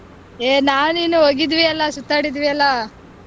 ಹೆ ನಾನ್ ನೀನೂ ಹೋಗಿದ್ವಿ ಅಲ್ಲ ಸುತ್ತಾಡಿದ್ವಿ ಅಲ್ವಾ.